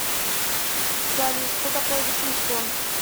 салют что такое вашингтон